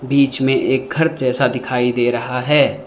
बीच में एक घर जैसा दिखाई दे रहा है।